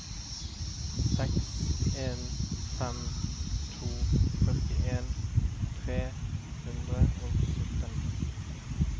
seks en fem to førtien tre hundre og sytten